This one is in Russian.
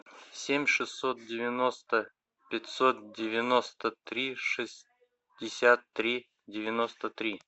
семь шестьсот девяносто пятьсот девяносто три шестьдесят три девяносто три